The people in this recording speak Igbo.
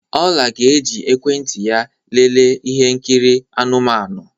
Oma ga-eji ekwentị ya lelee ihe nkiri anụmanụ.